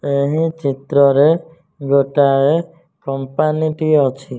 ଏହିଁ ଚିତ୍ରରେ ଗୋଟାଏ କମ୍ପାନୀ ଟିଏ ଅଛି।